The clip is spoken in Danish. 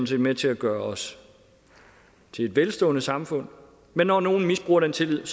set med til at gøre os til et velstående samfund men når nogen misbruger den tillid